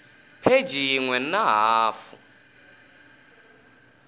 pheji yin we na hafu